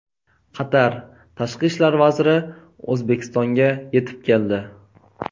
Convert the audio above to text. Qatar Tashqi ishlar vaziri O‘zbekistonga yetib keldi.